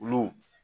Olu